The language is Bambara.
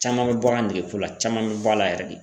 Caman bɛ bɔ a ka nege ko la, caman bɛ bɔ a la yɛrɛ de